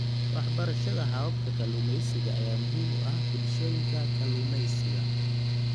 Waxbarashada hababka kalluumeysiga ayaa muhiim u ah bulshooyinka kalluumeysiga.